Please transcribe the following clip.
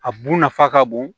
A bu nafa ka bon